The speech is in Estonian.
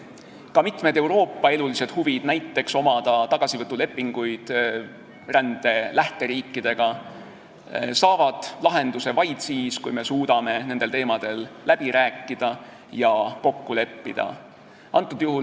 Ka mitmed Euroopa elulised huvid, näiteks huvi omada tagasivõtulepinguid rände lähteriikidega, saavad lahenduse vaid siis, kui me suudame nendel teemadel läbi rääkida ja kokku leppida.